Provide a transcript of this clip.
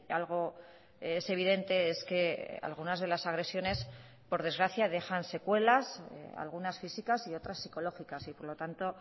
algo es evidente es que algunas de las agresiones por desgracia dejan secuelas algunas físicas y otras psicológicas y por lo tanto